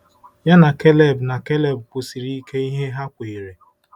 Ya na Keleb na Keleb kwusiri ike ihe ha kweere.